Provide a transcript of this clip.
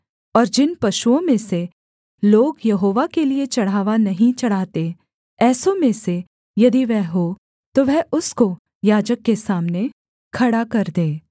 और जिन पशुओं में से लोग यहोवा के लिये चढ़ावा नहीं चढ़ाते ऐसों में से यदि वह हो तो वह उसको याजक के सामने खड़ा कर दे